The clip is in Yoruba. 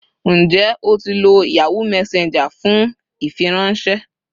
Njẹ o ti lo Yahoo Messenger fun ifiranṣẹ